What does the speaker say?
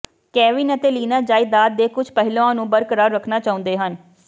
Kevin ਅਤੇ Lina ਜਾਇਦਾਦ ਦੇ ਕੁਝ ਪਹਿਲੂਆਂ ਨੂੰ ਬਰਕਰਾਰ ਰੱਖਣਾ ਚਾਹੁੰਦੇ ਹਨ